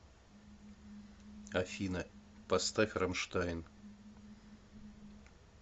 афина поставь рамштайн